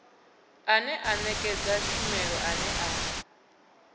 ane a nekedza tshumelo ane